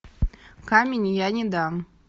камень я не дам